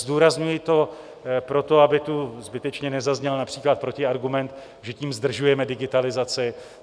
Zdůrazňuji to proto, aby tu zbytečně nezazněl například protiargument, že tím zdržujeme digitalizaci.